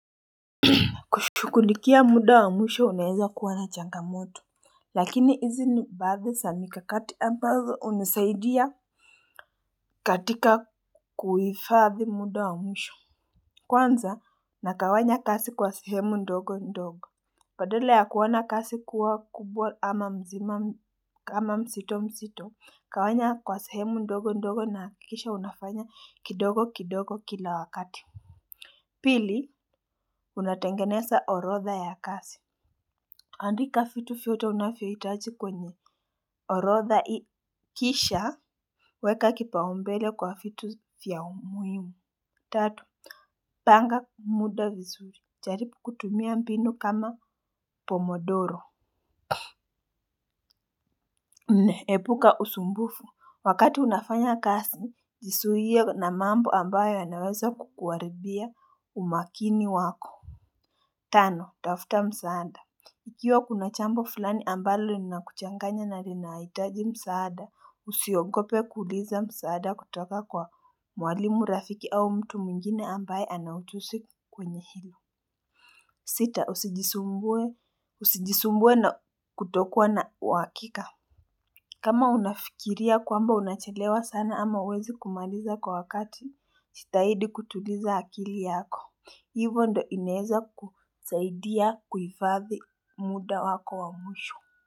Kushughulikia muda wa mwisho unaweza kuwa na changamoto. Lakini hizi ni baadhi za mikakati ambazo hunisaidia katika kuhifadhi muda wa mwisho. Kwanza nagawanya kazi kwa sehemu ndogo ndogo badala ya kuwa na kazi kuwa kubwa ama mzima kama mzito mzito gawanya kwa sehemu ndogo ndogo na hakikisha unafanya kidogo kidogo kila wakati. Pili unatengeneza orodha ya kazi. Andika vitu vyote unavyo hitaji kwenye orodha i kisha weka kipaumbele kwa vitu vya umuhimu. Tatu panga muda vizuri, jaribu kutumia mbinu kama pomodoro nne, epuka usumbufu, wakati unafanya kazi, jizuie na mambo ambayo yanaweza kukuharibia umakini wako. Tano, tafuta msaada. Ikiwa kuna jambo fulani ambalo lina kuchanganya na linahitaji msaada, usiogope kuuliza msaada kutoka kwa mwalimu rafiki au mtu mwingine ambaye anaujuzi kwenye hilo. Sita, usijisumbue na kutokuwa na uhakika. Kama unafikiria kwamba unachelewa sana ama huwezi kumaliza kwa wakati, jitahidi kutuliza akili yako. Hivo ndio inaweza kusaidia kuifadhi muda wako wa mwisho.